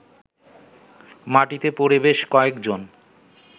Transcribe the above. মাটিতে পড়ে বেশ কয়েকজন